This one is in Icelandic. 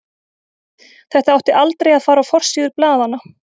Þetta átti aldrei að fara á forsíður blaðanna.